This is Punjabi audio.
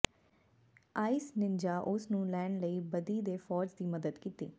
ਆਈਸ ਨਿਣਜਾਹ ਉਸ ਨੂੰ ਲੈਣ ਲਈ ਬਦੀ ਦੇ ਫ਼ੌਜ ਦੀ ਮਦਦ ਕੀਤੀ